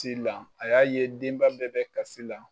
Ti la, a y'a ye denba bɛɛ bɛ kasi la